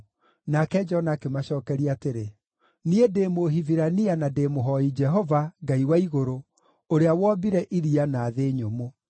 Nake Jona akĩmacookeria atĩrĩ, “Niĩ ndĩ Mũhibirania na ndĩ mũhooi Jehova, Ngai wa igũrũ, ũrĩa wombire iria na thĩ nyũmũ.”